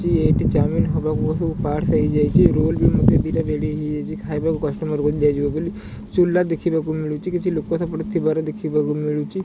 ଆଜି ଏଇଠି ଚାଉମିନ ହବା ବହୁ ପାର୍ଟସ ହେଇଯାଇଛି ରୋଲ ବି ମଧ୍ୟ ଦି ଟା ବେଡି ହେଇଯାଇଛି ଖାଇବାକୁ କଷ୍ଟମ୍ବର କୁ ଦିଆଯିବ ବୋଲି ଚୁଲା ଦେଖିବାକୁ ମିଳୁଛି କିଛି ଲୋକ ସେପଟେ ଥିବାର ଦେଖିବାକୁ ମିଳୁଛି।